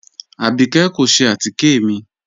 Abíkẹ̀ kò ṣẹ̀ àtíkẹ̀ mi